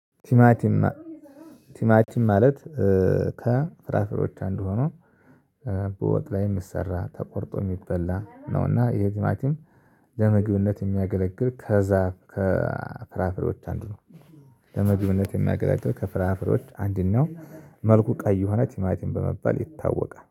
ቲማቲም ቲማቲም ማለት ከፍራፍሮች አንዱ ሆኖ። በወጥ ላይ የሚሰራ ተቆርጦ የሚበላ ነውና ይሄ ትማትም ለምግብነት የሚያገለግል ከዛ ከፍራፍሬዎች አንዱ ነው። ለምግብነት የሚያገላግል ከፍራፍሬዎች አንድ ነው መልኩ ቀይ የሆነ ቲማቲም በመባል ይታወቃል